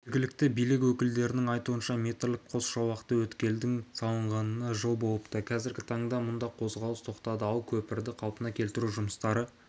жергілікті билік өкілдерінің айтуынша метрлік қос жолақты өткелдің салынғанына жыл болыпты қазіргі таңда мұнда қозғалыс тоқтады ал көпірді қалпына келтіру жұмыстары